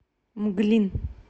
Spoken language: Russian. мглин